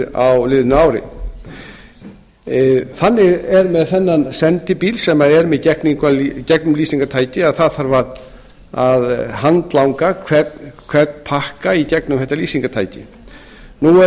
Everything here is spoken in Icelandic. gegnumlýstir á liðnu ári þannig er með þennan sendibíl sem er með gegnumlýsingartæki að það þarf að handlanga hvern pakka í gegnum þetta lýsingartæki nú er